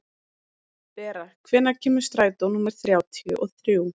Bera, hvenær kemur strætó númer þrjátíu og þrjú?